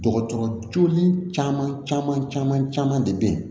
Dɔgɔtɔrɔ joolen caman caman de bɛ yen